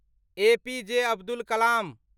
APJ Abdul Kalam